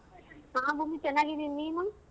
ಹ ಭೂಮಿ ಚೆನ್ನಾಗಿದೀನ್ ನೀನು?